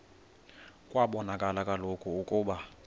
kwabonakala kaloku ukuba